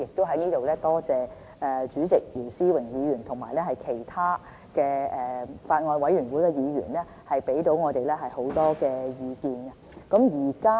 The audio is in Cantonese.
我亦在這裏多謝主席姚思榮議員和其他法案委員會的議員，給予我們很多意見。